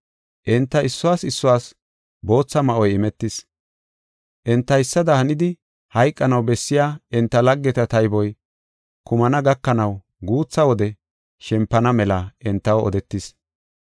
Enta issuwas issuwas bootha ma7oy imetis. Entaysada hanidi hayqanaw bessiya enta laggeta tayboy kumana gakanaw guutha wode shempana mela entaw odetis.